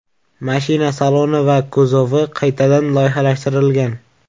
Mashina saloni va kuzovi qaytadan loyihalashtirilgan.